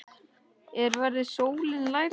Er verið að sóla lærin?